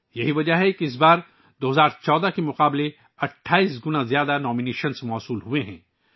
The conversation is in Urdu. یہی وجہ ہے کہ 2014 کے مقابلے میں اس بار 28 گنا زیادہ نامزدگیاں موصول ہوئی ہیں